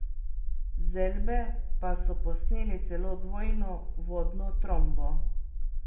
Z Elbe pa so posneli celo dvojno vodno trombo.